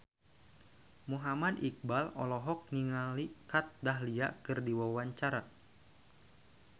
Muhammad Iqbal olohok ningali Kat Dahlia keur diwawancara